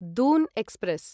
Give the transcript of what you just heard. Doon express